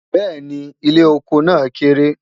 béèni, ilé ọkọ nà kéré